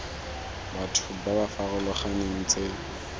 batho ba ba farologaneng tse